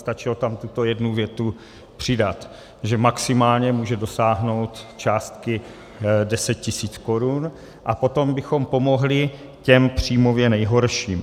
Stačilo tam tuto jednu větu přidat, že maximálně může dosáhnout částky 10 000 korun, a potom bychom pomohli těm příjmově nejhorším.